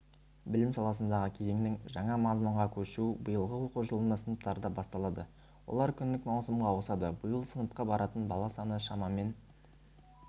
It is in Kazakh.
білім саласындағы кезеңдік жаңа мазмұнға көшу биылғы оқу жылында сыныптарда басталады олар күндік маусымға ауысады биыл сыныпқа баратын бала саны шамамен